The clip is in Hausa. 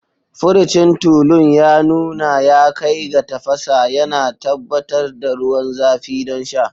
Furucin tulun ya nuna ya kai ga tafasa, yana tabbatar da ruwan zafi don sha.